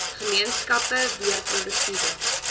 gemeenskappe weer produktiewe